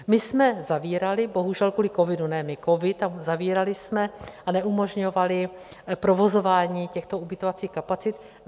My jsme zavírali bohužel kvůli covidu, ne my, covid, a zavírali jsme a neumožňovali provozování těchto ubytovacích kapacit.